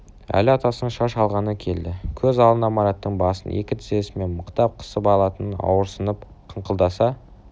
әли атасының шаш алғаны келді көз алдына мараттың басын екі тізесімен мықтап қысып алатын ауырсынып қыңқылдаса